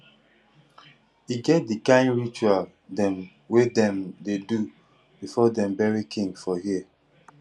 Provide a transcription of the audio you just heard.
e get di kain ritual dem wey dem dey do before dem bury king for here